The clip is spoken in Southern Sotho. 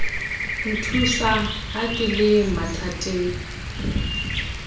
nthusa ha ke le mathateng